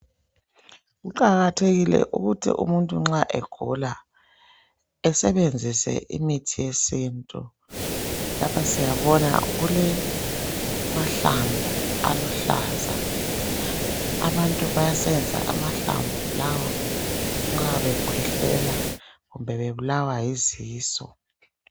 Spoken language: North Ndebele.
Kuqakathekile ukuthi umuntu nxa egula esebenzise imithi yesintu. Lapha siyabona kule mahlamvu aluhlaza abantu bayasebenzisa amahlamvu lawa nxa bekhwehlela kumbe bebulawa yizisu.